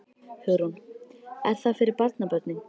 Hugrún: Er það fyrir barnabörnin?